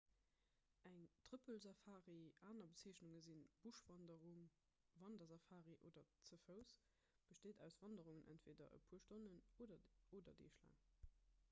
eng trëppelsafari aner bezeechnunge si buschwanderung wandersafari oder ze fouss besteet aus wanderungen entweeder e puer stonnen oder deeg laang